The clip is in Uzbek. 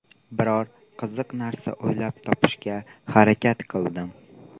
Biror qiziq narsa o‘ylab topishga harakat qildim.